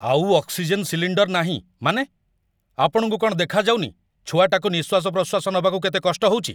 ଆଉ oxygen cylinder ନାହିଁ, ମାନେ? ଆପଣଙ୍କୁ କ'ଣ ଦେଖାଯାଉନି ଛୁଆଟାକୁ ନିଃଶ୍ୱାସ ପ୍ରଶ୍ୱାସ ନବାକୁ କେତେ କଷ୍ଟ ହଉଚି?